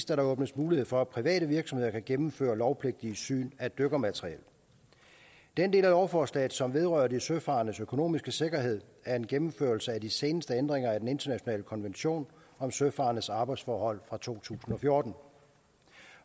der åbnes mulighed for at private virksomheder kan gennemføre lovpligtige syn af dykkermateriel den del af lovforslaget som vedrører de søfarendes økonomiske sikkerhed er en gennemførelse af de seneste ændringer af den internationale konvention om søfarendes arbejdsforhold fra to tusind og fjorten